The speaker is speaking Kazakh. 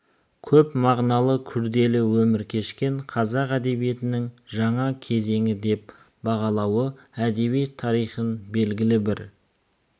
көп мағыналы күрделі өмір кешкен қазақ әдебиетінің жаңа кезеңі деп бағалауы әдебиет тарихын белгілі бір